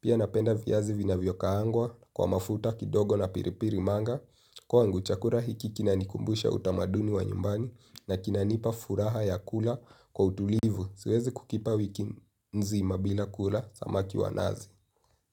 pia napenda vyazi vinavyo kaangwa kwa mafuta kidogo na piripiri manga. Kwangu chakula hiki kinanikumbusha utamaduni wa nyumbani na kinanipa furaha ya kula kwa utulivu, siwezi kukipa wiki nzima bila kula samaki wa nazi.